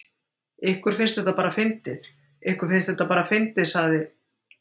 Ykkur finnst þetta bara fyndið, ykkur finnst þetta bara fyndið sagði